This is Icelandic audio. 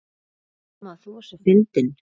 Amma þú varst svo fyndin.